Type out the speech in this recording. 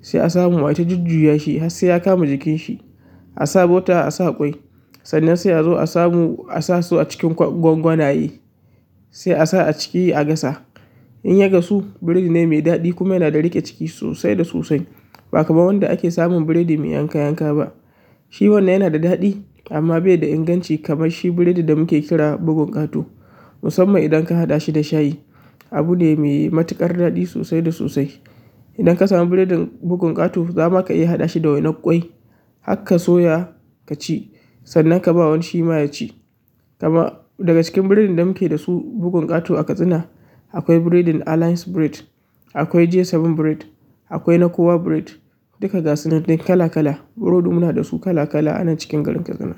sai a samu aita jujjuya shi har sai ya kama jikin shi. A sa bota, a sa ƙwai, sannan sai a zo a samu, a sa su a cikin gwangwanaye, sai a sa a ciki a gasa. In ya gasu, biredi ne mai daɗi kuma yana da riƙe ciki sosai da sosai. Ba kaman wanda ake samun biredi mai yanka yanka ba shi wanann yana da daɗi amma baida inganci kamar shi biredin da muke ƙira bugun ƙato musamman idan ka haɗa shi da shayi, abu ne mai matuƙar daɗi sosai da sosai. Idan ka samu biredin bugun ƙato, zama ka iya haɗa shi da wainar ƙwai, hakka soya ka ci sannan ka ba wani shi ma ya ci. Kaman daga cikin biredin da muke da su bugun ƙato a Katsina, akwai biredin Alliance Bread, akwai G bakwai Bread, akwai na Kowa Bread. Duka gasunan dai kala kala biredi muna dasu kala kala anan cikin garin Katsina.